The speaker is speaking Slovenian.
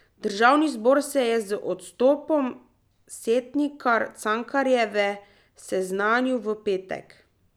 Državni zbor se je z odstopom Setnikar Cankarjeve seznanil v petek.